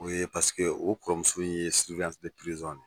O ye paseke o kɔrɔmuso in ye ye.